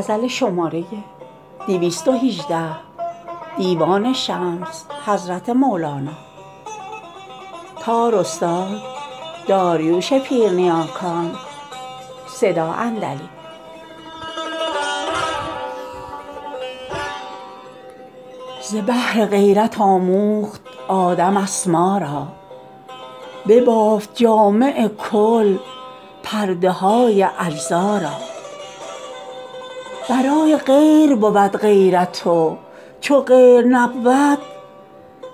ز بهر غیرت آموخت آدم اسما را ببافت جامع کل پرده های اجزا را برای غیر بود غیرت و چو غیر نبود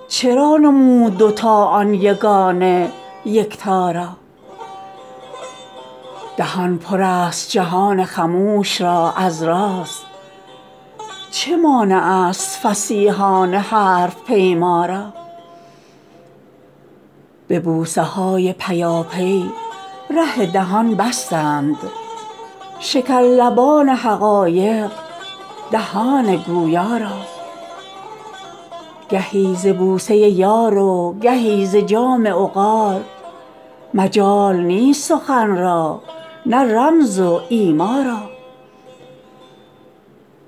چرا نمود دو تا آن یگانه یکتا را دهان پر است جهان خموش را از راز چه مانع ست فصیحان حرف پیما را به بوسه های پیاپی ره دهان بستند شکرلبان حقایق دهان گویا را گهی ز بوسه یار و گهی ز جام عقار مجال نیست سخن را نه رمز و ایما را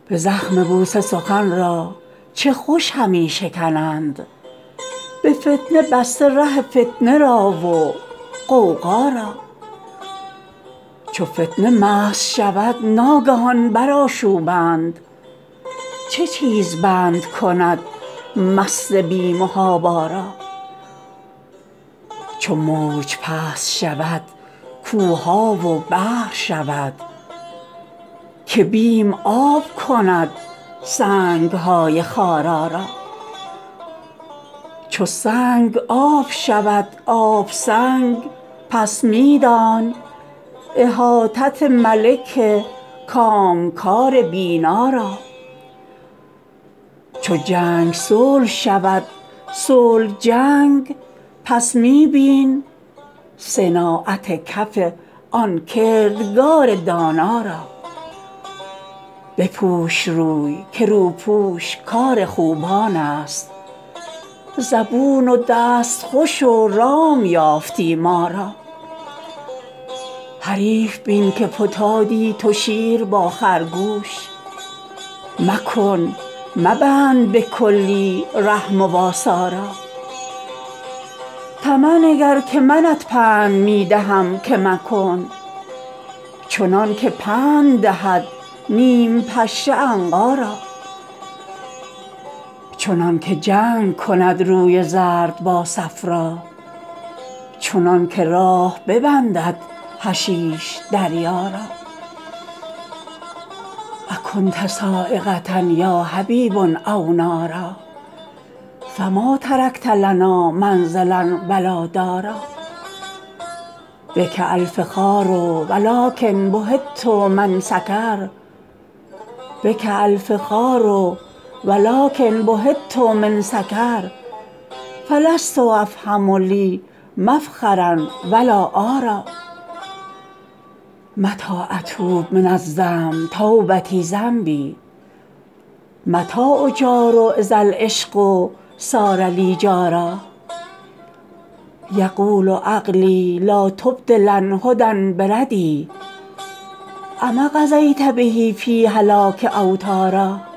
به زخم بوسه سخن را چه خوش همی شکنند به فتنه بسته ره فتنه را و غوغا را چو فتنه مست شود ناگهان برآشوبند چه چیز بند کند مست بی محابا را چو موج پست شود کوه ها و بحر شود که بیم آب کند سنگ های خارا را چو سنگ آب شود آب سنگ پس می دان احاطت ملک کامکار بینا را چو جنگ صلح شود صلح جنگ پس می بین صناعت کف آن کردگار دانا را بپوش روی که روپوش کار خوبان ست زبون و دستخوش و رام یافتی ما را حریف بین که فتادی تو شیر با خرگوش مکن مبند به کلی ره مواسا را طمع نگر که منت پند می دهم که مکن چنان که پند دهد نیم پشه عنقا را چنان که جنگ کند روی زرد با صفرا چنان که راه ببندد حشیش دریا را اکنت صاعقه یا حبیب او نارا فما ترکت لنا منزلا و لا دارا بک الفخار ولکن بهیت من سکر فلست افهم لی مفخرا و لا عارا متی اتوب من الذنب توبتی ذنبی متی اجار اذا العشق صار لی جارا یقول عقلی لا تبدلن هدی بردی اما قضیت به فی هلاک اوطارا